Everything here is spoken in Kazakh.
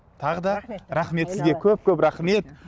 тағы да рахмет сізге көп көп рахмет